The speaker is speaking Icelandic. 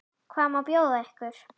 Hvað má bjóða ykkur?